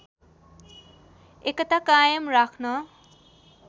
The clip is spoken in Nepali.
एकता कायम राख्न